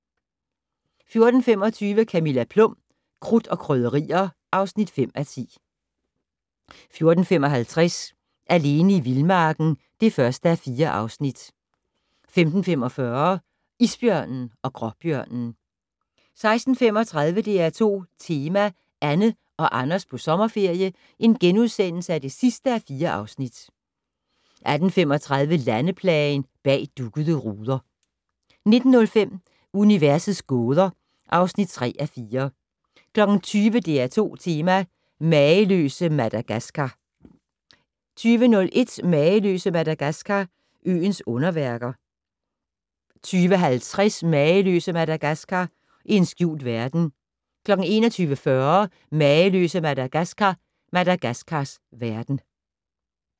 14:25: Camilla Plum - Krudt og Krydderier (5:10) 14:55: Alene i vildmarken (1:4) 15:45: Isbjørnen og gråbjørnen 16:35: DR2 Tema: Anne og Anders på sommerferie (4:4)* 18:35: Landeplagen - "Bag duggede ruder" 19:05: Universets gåder (3:4) 20:00: DR2 Tema: Mageløse Madagaskar 20:01: Mageløse Madagaskar - øens underværker 20:50: Mageløse Madagaskar - en skjult verden 21:40: Mageløse Madagaskar - Madagaskars verden